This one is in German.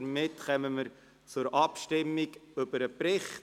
Somit kommen wir zur Abstimmung über den Bericht.